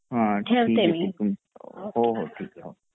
हो हो ठिके ओके